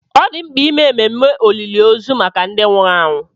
Ọ dị mkpa ime ememe olili ozu maka ndị nwụrụ anwụ.